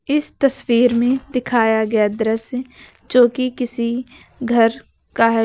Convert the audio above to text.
इस तस्वीर में दिखाया गया दृश्य जोकि किसी घर का है।